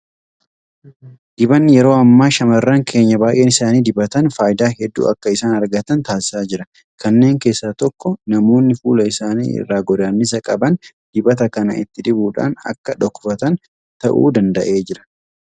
Dibanni yeroo ammaa shaamarran keenya baay'een isaanii dibatan faayidaa hedduu akka isaan argatan taasisaa jira. Kanneen keessaa tokko namoonni fuula isaanii irraa godaannisa qaban dibata kana itti dibuudhaan akka dhokfatan ta'uu danda'eera.